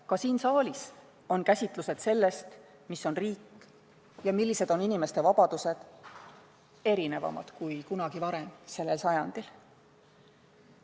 Ka siin saalis on käsitlused sellest, mis on riik ja millised on inimeste vabadused, erinevamad kui kunagi varem sellel sajandil.